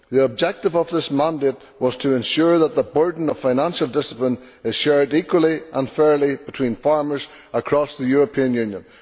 The objective of this mandate was to ensure that the burden of financial discipline is shared equally and fairly between farmers across the European Union.